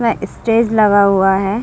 इसमें ईस्टेज लगा हुआ है।